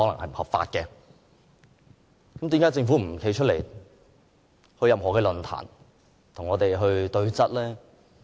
為何政府不肯出席任何論壇，與我們對質？